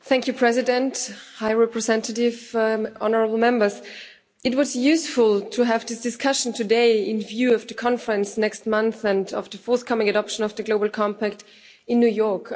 Mr President, High Representative, honourable Members, it was useful to have this discussion today in view of the conference next month and of the forthcoming adoption of the Global Compact in New York.